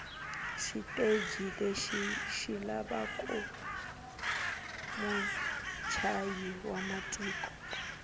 shiteji leshi shilava mutshayi wamatimu